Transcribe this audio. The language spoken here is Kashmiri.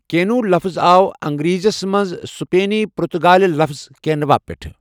کیٚنو لفٕظ آو انٛگریٖزیس منٛز سٕپینی پُرتُگٲلہِ لفظ کیٚنووَا پیٚٹھٕہ